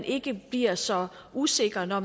ikke bliver så usikre når